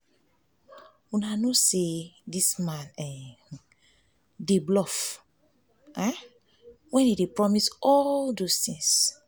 una no say dis man um just dey bluff wen he dey promise all those um things